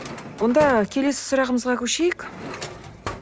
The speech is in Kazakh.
онда келесі сұрағымызға көшейік